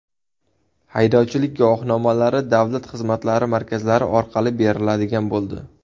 Haydovchilik guvohnomalari davlat xizmatlari markazlari orqali beriladigan bo‘ldi.